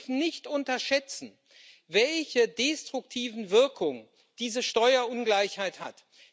Wir dürfen nicht unterschätzen, welche destruktiven Wirkungen diese Steuerungleichheit hat.